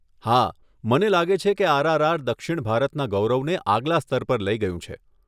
હા, મને લાગે છે કે આરઆરઆર દક્ષિણ ભારતના ગૌરવને આગલા સ્તર પર લઈ ગયું છે.